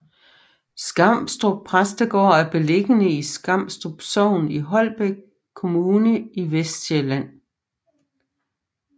Skamstrup Præstegård er beliggende i Skamstrup Sogn i Holbæk Kommune i Vestsjælland